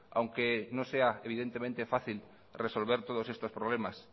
aunque no sea evidentemente fácil resolver todos estos problemas